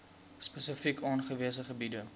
spesifiek aangewese gebiede